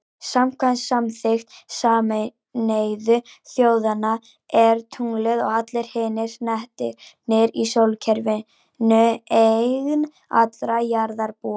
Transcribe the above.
Samkvæmt samþykkt Sameinuðu þjóðanna er tunglið, og allir hinir hnettirnir í sólkerfinu, eign allra jarðarbúa.